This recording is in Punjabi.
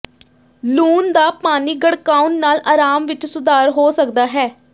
ਲੂਣ ਦਾ ਪਾਣੀ ਗੜਕਾਉਣ ਨਾਲ ਆਰਾਮ ਵਿੱਚ ਸੁਧਾਰ ਹੋ ਸਕਦਾ ਹੈ